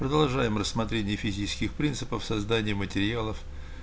продолжаем рассмотрение физических принципов создания материалов